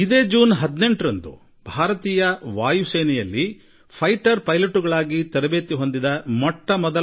ಇದೇ ಜೂನ್ 18ರಂದು ಭಾರತೀಯ ವಾಯುಪಡೆಯ ಮೊಟ್ಟ ಮೊದಲ ಮಹಿಳಾ ಯುದ್ಧ ವಿಮಾನ ಪೈಲಟ್ ಗಳ ತಂಡ ಭಾರತೀಯ ವಾಯುಪಡೆಯಲ್ಲಿ ಸೇರ್ಪಡೆಯಾಗಿದೆ